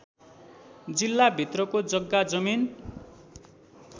जिल्लाभित्रको जग्गा जमिन